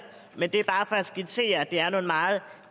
men det er bare for at skitsere at det er nogle meget